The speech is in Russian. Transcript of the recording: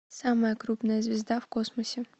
самая крупная звезда в космосе